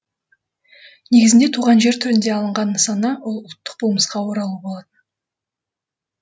негізінде туған жер түрінде алынған нысана ол ұлттық болмысқа оралу болатын